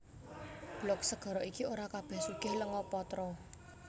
Blok segara iki ora kabèh sugih lenga patra